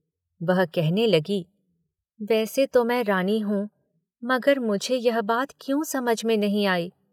वह कहने लगी, वैसे तो मैं रानी हूँ, मगर मुझे यह बात क्यों समझ में नहीं आई?